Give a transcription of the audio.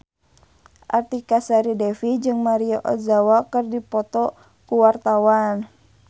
Artika Sari Devi jeung Maria Ozawa keur dipoto ku wartawan